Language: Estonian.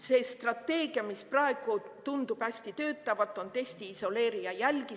See strateegia, mis praegu tundub hästi töötavat, on: testi, isoleeri ja jälgi.